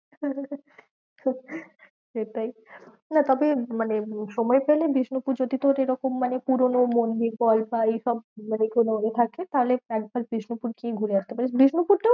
সেটাই না তবে মানে সময় পেলে বিষ্ণুপুর যদি তোর এরকম মানে পুরোনো মন্দির বল বা এইসব মানে কোনো এ থাকে তাহলে একবার বিষ্ণুপুর গিয়ে ঘুরে আস্তে পারিস। বিষ্ণুপুরটা